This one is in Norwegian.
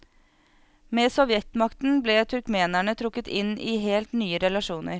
Med sovjetmakten ble turkmenene trukket inn i helt nye relasjoner.